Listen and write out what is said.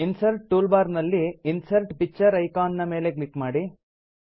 insert tool bar ನಲ್ಲಿ insert picture icon ನ ಮೇಲೆ ಕ್ಲಿಕ್ ಮಾಡಿ